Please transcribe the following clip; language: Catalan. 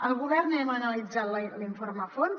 el govern hem analitzat l’informe a fons